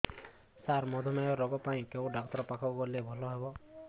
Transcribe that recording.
ସାର ମଧୁମେହ ରୋଗ ପାଇଁ କେଉଁ ଡକ୍ଟର ପାଖକୁ ଗଲେ ଭଲ ହେବ